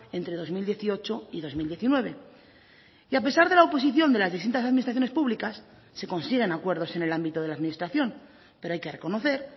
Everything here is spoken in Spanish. entre dos mil dieciocho y dos mil diecinueve y a pesar de la oposición de las distintas administraciones públicas se consiguen acuerdos en el ámbito de la administración pero hay que reconocer